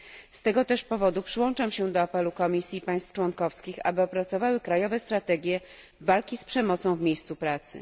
Z tego też powodu przyłączam się do apelu Komisji i państw członkowskich, aby opracowały krajowe strategie walki z przemocą w miejscu pracy.